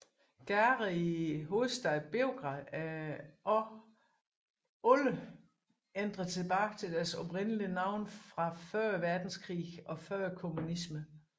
Gader i hovedstaden Beograd er også alle ændret tilbage til deres oprindelige navne fra før verdenskrigen og før kommunismen